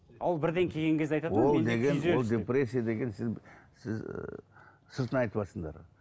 ал ол бірден келген кезде ол деген ол депрессия деген сіз сіз сыртынан айтыватсыңдар